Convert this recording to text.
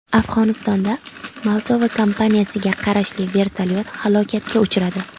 Afg‘onistonda Moldova kompaniyasiga qarashli vertolyot halokatga uchradi.